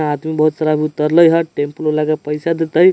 आदमी बहुत सारा अभी उतरलई ह टेम्पू वाला के पैसा देतइ।